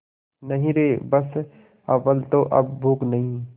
नहीं रे बस अव्वल तो अब भूख नहीं